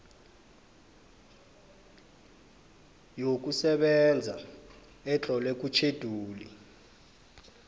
yokusebenza etlolwe kutjhejuli